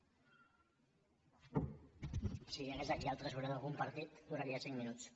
si hi hagués aquí el tresorer d’algun partit duraria cinc minuts